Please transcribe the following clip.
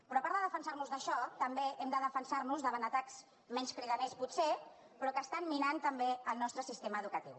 però a part de defensar nos d’això també hem de defensar nos davant atacs menys cridaners potser però que estan minant també el nostre sistema educatiu